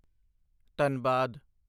Dhanbad